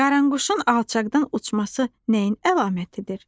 Qaranquşun alçaqdan uçması nəyin əlamətidir?